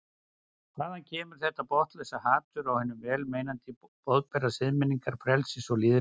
Hvaðan kemur þetta botnlausa hatur á hinum vel meinandi boðberum siðmenningar, frelsis og lýðræðis?